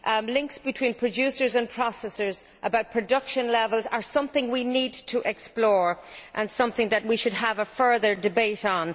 links between producers and processors, about production levels, are something we need to explore, something we have to have a further debate on.